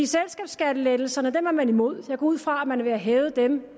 selskabsskattelettelserne er man imod jeg går ud fra at man vil have dem